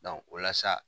o la sa